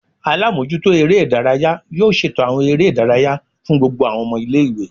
Alamojuto ere idaraya yoo ṣeto awọn ere idaraya fun gbogbo awọn ọmọ ile-iwe